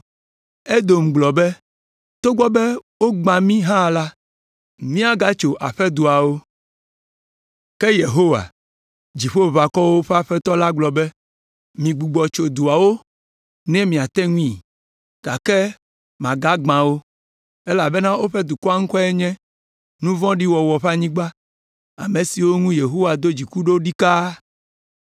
Edom gblɔ be, “Togbɔ be wogbã mi hã la, míagatso aƒedoawo.” Ke Yehowa, Dziƒoʋakɔwo ƒe Aƒetɔ la agblɔ be, “Migbugbɔ tso duawo ne miate ŋui, gake magagbã wo, elabena woƒe dukɔa ŋkɔe nye, Nu vɔ̃ɖi wɔwɔ ƒe anyigba, ame siwo ŋu Yehowa do dziku ɖo ɖikaa.